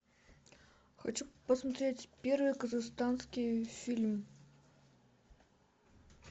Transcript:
хочу посмотреть первый казахстанский фильм